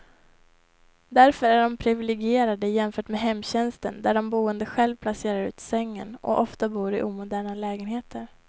Därför är de priviligierade jämfört med hemtjänsten där de boende själv placerar ut sängen, och ofta bor i omoderna lägenheter.